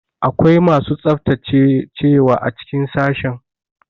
Akwai masu tsaftacewa a cikin sashen.